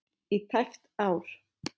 í tæpt ár.